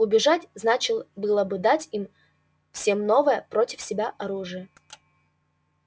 убежать значил было бы только дать им всем новое против себя оружие